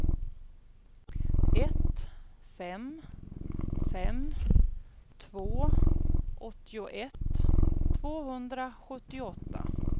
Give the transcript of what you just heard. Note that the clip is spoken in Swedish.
ett fem fem två åttioett tvåhundrasjuttioåtta